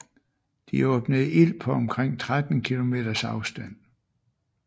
De åbnede ild på omkring 13 km afstand